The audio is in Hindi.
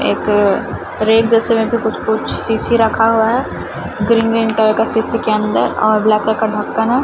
एक रैक जैसे में भी कुछ कुछ शीशी रखा हुआ है ग्रीन ग्रीन कलर का शीशी के अंदर और ब्लैक कलर का ढक्कन है।